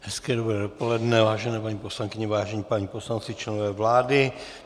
Hezké dobré dopoledne, vážené paní poslankyně, vážení páni poslanci, členové vlády.